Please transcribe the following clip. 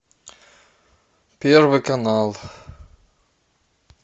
первый канал